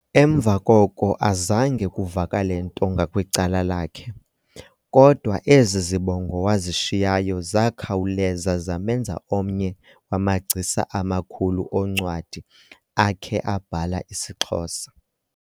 Emva koko azange kuvakale nto ngakwicala lakhe, kodwa ezi zibongo wazishiyayo zakhawuleza zamenza omnye wamagcisa amakhulu oncwadi akhe abhala isiXhosa.